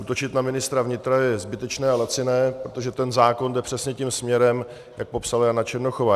Útočit na ministra vnitra je zbytečné a laciné, protože ten zákon jde přesně tím směrem, jak popsala Jana Černochová.